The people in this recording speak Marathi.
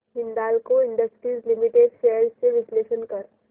हिंदाल्को इंडस्ट्रीज लिमिटेड शेअर्स चे विश्लेषण कर